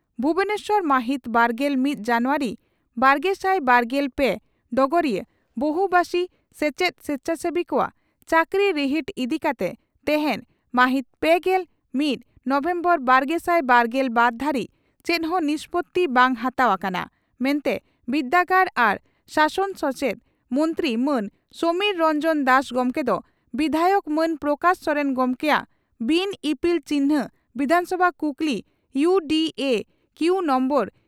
ᱵᱷᱩᱵᱚᱱᱮᱥᱚᱨ ᱢᱟᱦᱤᱛ ᱵᱟᱨᱜᱮᱞ ᱢᱤᱛ ᱡᱟᱱᱩᱣᱟᱨᱤ ᱵᱟᱨᱜᱮᱥᱟᱭ ᱵᱟᱨᱜᱮᱞ ᱯᱮ (ᱰᱚᱜᱚᱨᱤᱭᱟᱹ) ᱺ ᱵᱚᱦᱩᱵᱟᱥᱤ ᱥᱮᱪᱮᱫ ᱥᱮᱪᱷᱟᱥᱮᱵᱤ ᱠᱚᱣᱟᱜ ᱪᱟᱹᱠᱨᱤ ᱨᱤᱦᱤᱴ ᱤᱫᱤ ᱠᱟᱛᱮ ᱛᱮᱦᱮᱧ (ᱢᱟᱦᱤᱛ ᱯᱮᱜᱮᱞ ᱢᱤᱛ ᱱᱚᱵᱷᱮᱢᱵᱚᱨ ᱵᱟᱨᱜᱮᱥᱟᱭ ᱵᱟᱨᱜᱮᱞ ᱵᱟᱨ ) ᱫᱷᱟᱹᱨᱤᱡ ᱪᱮᱫ ᱦᱚᱸ ᱱᱤᱥᱯᱳᱛᱤ ᱵᱟᱝ ᱦᱟᱛᱟᱣ ᱟᱠᱟᱱᱟ ᱢᱮᱱᱛᱮ ᱵᱤᱨᱫᱟᱹᱜᱟᱲ ᱟᱨ ᱥᱟᱥᱚᱱ ᱥᱮᱪᱮᱫ ᱢᱚᱱᱛᱨᱤ ᱢᱟᱱ ᱥᱚᱢᱤᱨ ᱨᱚᱱᱡᱚᱱ ᱫᱟᱥ ᱜᱚᱢᱠᱮ ᱫᱚ ᱵᱤᱫᱷᱟᱭᱚᱠ ᱢᱟᱱ ᱯᱨᱚᱠᱟᱥ ᱥᱚᱨᱮᱱ ᱜᱚᱢᱠᱮᱭᱟᱜ ᱵᱤᱱ ᱤᱯᱤᱞ ᱪᱤᱱᱦᱟᱹ ᱵᱤᱫᱷᱟᱱᱥᱚᱵᱷᱟ ᱠᱩᱠᱞᱤ ᱤᱭᱩ ᱰᱤ ᱮ ᱠᱤᱣᱩ ᱱᱚᱢᱵᱚᱨ